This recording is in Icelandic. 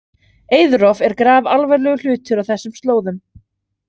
Eiðrof er grafalvarlegur hlutur á þessum slóðum.